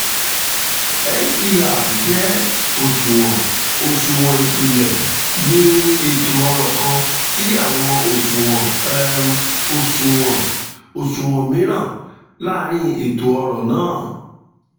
mpr jẹ oṣuwọn oṣuwọn ipilẹ ni eto-ọrọ kan ti awọn oṣuwọn um oṣuwọn um miiran laarin um eto-ọrọ naa